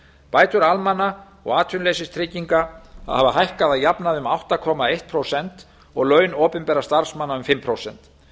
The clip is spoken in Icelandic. bætur almanna og atvinnuleysistrygginga hafa hækkað að jafnaði um átta komma eitt prósent og laun opinberra starfsmanna um fimm prósent